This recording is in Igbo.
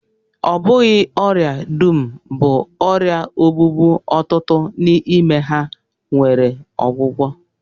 Ọ bụghị ọrịa dum bụ ọrịa ogbugbu, ọtụtụ n'ime ha nwere ọgwụgwọ